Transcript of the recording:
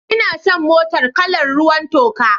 Ina son motar kalar ruwan toka.